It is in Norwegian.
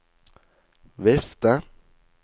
vifte